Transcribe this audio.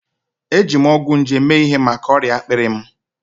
Eji m ọgwụ nje mee ihe maka ọrịa akpịrị m.